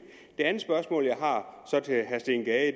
andet spørgsmål jeg har til herre steen gade